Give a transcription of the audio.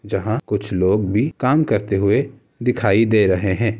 जहाँ कुछ लोग भी काम करते हुए दिखाई दे रहें हैं।